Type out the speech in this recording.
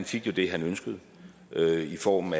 fik det han ønskede i form